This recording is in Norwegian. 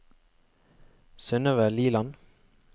Synøve Liland